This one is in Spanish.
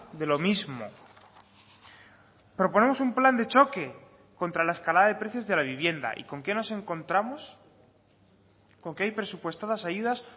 de lo mismo proponemos un plan de choque contra la escalada de precios de la vivienda y con qué nos encontramos con que hay presupuestadas ayudas